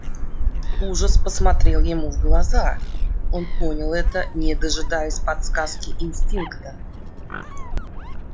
ужас посмотрел ему в глаза он понял это не дожидаясь подсказки инстинкта